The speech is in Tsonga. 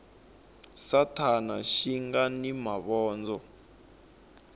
sathana xi nga ni mavondzo